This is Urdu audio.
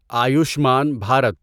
آیوشمان بھارت